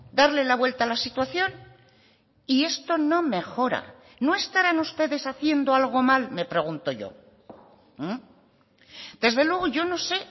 darle la vuelta a la situación y esto no mejora no estarán ustedes haciendo algo mal me pregunto yo desde luego yo no sé